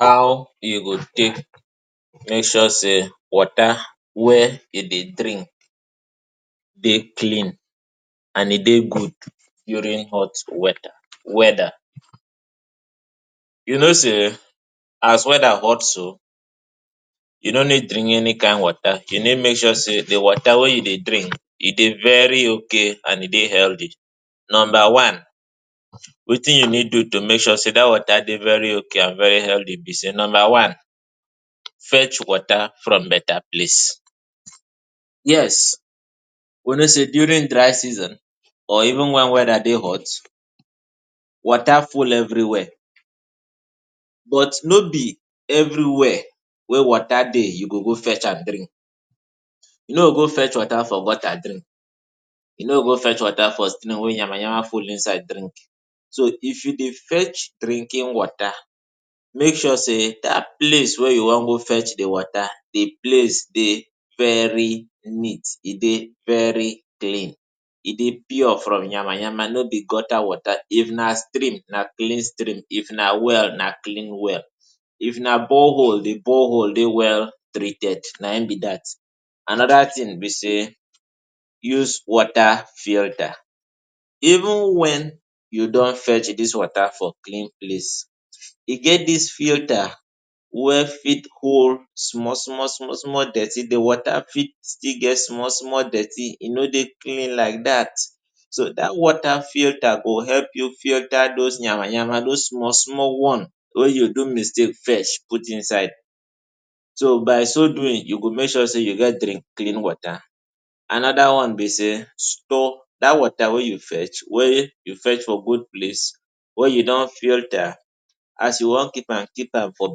How you go take make sure say water wey you dey drink dey clean and e dey good during hot water weather weather. You know say as weather hot so, you no need bring any kain water. Di need na make sure say di water wey you dey drink e dey very okay and e dey healthy. Numba one, wetin you need do to make sure say dat water dey very okay and very healthy be say, number one fetch water from betta place. Yes, we know say during dry season or even wen weather dey hot, water full evri wia, but no be evri wia wey water dey you go go fetch am drink. E No go fetch water for gutter drink. E no good fetch water for stream wey nyama-nyama full inside drink. So if you dey fetch drinking water, make sure say dat place wey you wan go fetch di water, di place dey very neat, e dey very clean, e dey pure from nyama-nyama. No be gutter water. If na stream, na clean stream. If na well, na clean well. If na borehole, di borehole dey well treated. Na him be dat. Anoda tin be say, use water filter. Even wen you don fetch dis water from clean place, e get dis filter wey fit hold small small small dirty. Di water fit still get small small dirty, e no dey clean like dat. So dat water filter go help you filter those nyama-nyama, those small small one wey you do mistake fetch put inside. So by so doing, you go make sure say you dey drink clean water. Anoda one be say, store dat water wey you fetch from good place, wey you don filter. As you wan keep am, keep am for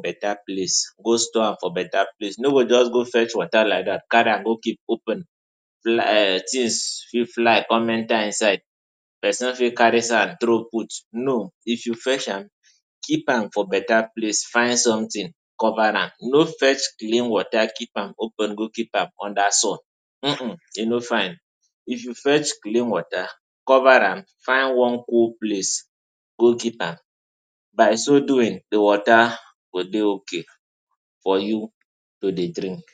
betta place. go just go fetch water like dat, carry am go keep open. um Tins fit fly come enta inside, pesin fit carry sand throw put. No. If you fetch am, keep am for betta place. Find sometin cover am. No fetch clean water keep am open, go keep under sun um um. E no fine. If you fetch clean water, cover am, find one good place go keep am. By so doing, di water go dey okay for you to dey drink.